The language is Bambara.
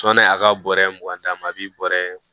a ka bɔrɛ mugan d'a ma a bɛ bɔrɛ